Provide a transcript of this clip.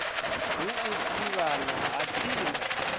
ha u thivhana ha tsinga